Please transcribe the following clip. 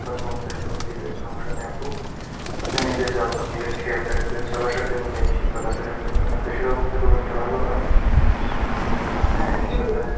যখন মন চায় phone দিবেন সমস্যা নেই আপু, আপনি নিজের যত্ন নিবেন, খেয়াল রাখবেন, সবার সাথে মিলিয়ে মিশে চলাফেরা করবেন আর দেশের অবস্থা খুব একটা ভালো নয়, হ্যাঁ